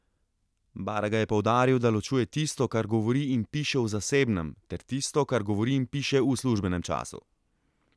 Baraga je poudaril, da ločuje tisto, kar govori in piše v zasebnem, ter tisto, kar govori in piše v službenem času.